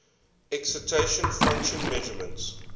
excitation function measurements